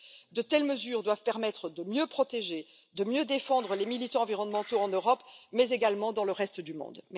De telles mesures doivent permettre de mieux protéger et de mieux défendre les militants environnementaux en Europe mais également dans le reste du monde.